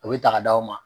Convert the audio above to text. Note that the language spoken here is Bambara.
U bɛ ta k'a d'aw ma